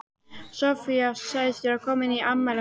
Soffía sagðist vera komin í afmælið hennar